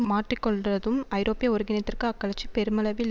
மாற்றிக்கொண்டதும் ஐரோப்பிய ஒருங்கிணைத்திற்கு அக்கட்சி பெருமளவில்